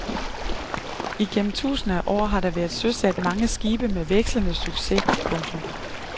Igennem tusinder af år har der været søsat mange skibe med vekslende succes. punktum